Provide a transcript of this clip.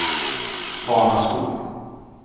Hanaskog